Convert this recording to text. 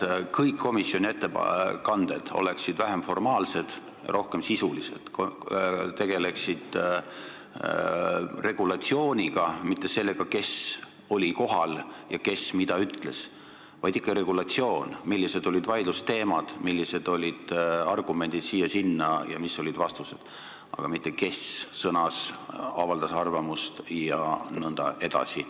Ma tahaks, et komisjoni ettekanded oleksid vähem formaalsed ja rohkem sisulised, tegeleksid regulatsiooniga, mitte sellega, kes oli kohal ja kes mida ütles, vaid et seal räägitaks ikka regulatsioonist, sellest, millised olid vaidlusteemad, millised olid argumendid ja mis olid vastused, aga mitte sellest, kes sõnas, avaldas arvamust jne.